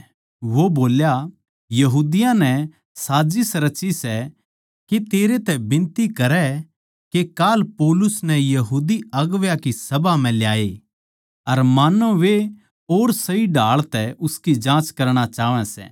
वो बोल्या यहूदियाँ नै साजिस रची सै के तेरै तै बिनती करै के काल पौलुस नै बड्डी सभा म्ह लाये मान्नो वे और सही ढाळ तै उसकी जाँच करणा चाहवै सै